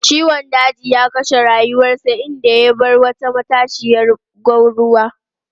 Ciwon daji ya kashe rayuwarsa, inda ya bar wata matashiyar gwanruwa.